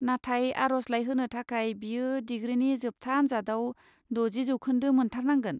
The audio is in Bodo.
नाथाय आर'जलाइ होनो थाखाय, बियो डिग्रिनि जोबथा आन्जादाव द'जि जौखोन्दो मोन्थारनांगोन।